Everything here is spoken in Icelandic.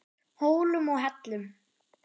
Hólum og hellum.